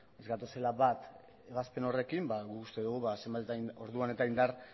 ez gatozela bat ebazpen horrekin ba guk uste dugu orduan eta indar